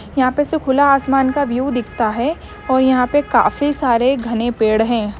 यहां पर से खुला आसमान का व्यू दिखता है। और यहां पर काफी सारे घने पेड़ हैं।